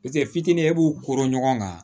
fitinin e b'u koron ɲɔgɔn kan